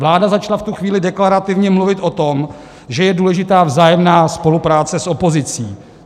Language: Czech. Vláda začala v tu chvíli deklarativně mluvit o tom, že je důležitá vzájemná spolupráce s opozicí.